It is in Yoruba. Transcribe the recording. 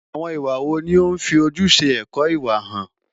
Àwọn ìwà wo ni ó ń fi ojúṣe ẹ̀kọ́ ìwà hàn?